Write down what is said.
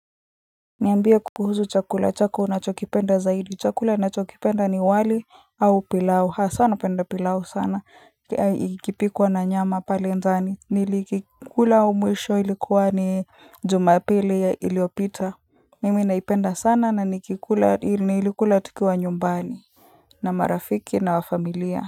Niambie kuhusu chakula chako unachokipenda zaidi, chakula nachokipenda ni wali au pilau, hasa napenda pilau sana, ikipikwa na nyama pale ndani, nilikikula mwisho ilikuwa ni Jumapili iliopita mimi naipenda sana na niliikula tukiwa nyumbani na marafiki na wafamilia.